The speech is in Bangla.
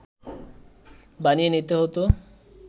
বানিয়ে নিতে হত